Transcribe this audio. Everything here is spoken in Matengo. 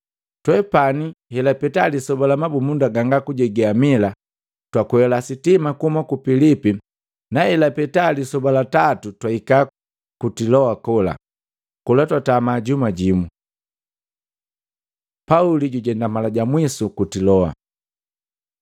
Twepani, helapeta lisoba la mabumunda ganga kujege amila, twakwela sitima kuhuma ku Pilipi na hela peta lisoba la tatu twahika ku Tiloa kola. Kola twatama masoba ga juma jimu. Pauli jujenda mala ja mwisu ku Tiloa